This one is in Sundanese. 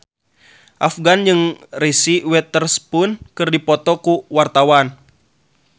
Afgan jeung Reese Witherspoon keur dipoto ku wartawan